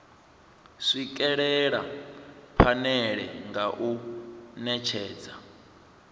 swikelela phanele nga u netshedza